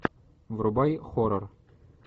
врубай хоррор